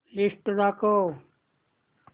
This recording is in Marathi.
लिस्ट दाखव